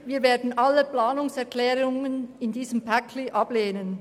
Wir werden alle Planungserklärungen in diesem Paket ablehnen.